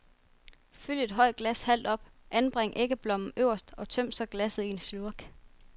Fyld et højt glas halvt op, anbring æggeblommen øverst og tøm så glasset i en slurk.